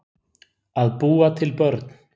Að búa til börn